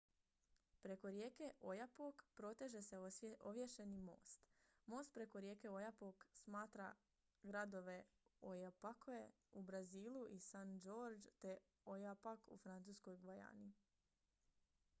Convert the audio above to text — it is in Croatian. preko rijeke oyapock proteže se ovješeni most most preko rijeke oyapock spaja gradove oiapoque u brazilu i saint-georges de l'oyapock u francuskoj gvajani